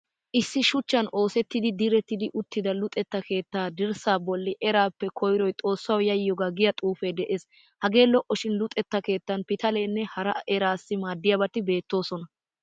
Issi shuchchan oosetti diretti uttida luxettaa keettaa dirssaa bolli eraappe koyiroy xoossawu yayyiyoogaa giya xuufee de'es. Hagee lo'o shin luxetta keettan pitaletanne hara eraasassi maaddiyabati beettoosona.